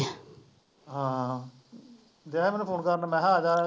ਹਾਂ ਡਿਆ ਸੀ ਮੈਨੂੰ phone ਕਰਨ ਮੈਂ ਕਿਹਾ ਆ ਜਾ